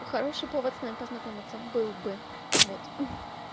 хороший повод с нами познакомиться был бы вот ха-ха